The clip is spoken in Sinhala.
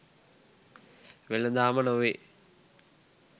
වෙලඳාම නොවේ